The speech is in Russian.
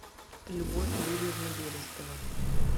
любовь юрьевна берестова